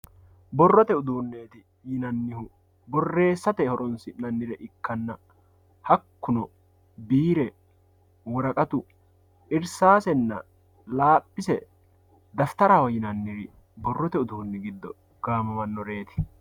Borrote uduuneti yinanihu borreessate horonsinanniha ikkanna hakuno biire woraqatu, irisasenna laaphise dafitaraho yinaniri borrotte uduunni gido hige gaamamanoretti